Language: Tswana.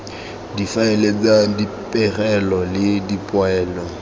difaele tsa dipegelo le dipoelo